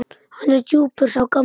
Hann er djúpur sá gamli.